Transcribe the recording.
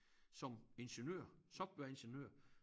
Som ingeniører softwareingeniører